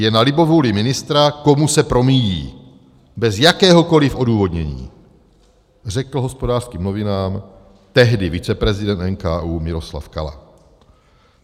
Je na libovůli ministra, komu se promíjí, bez jakéhokoliv odůvodnění, řekl Hospodářským novinám tehdy viceprezident NKÚ Miloslav Kala.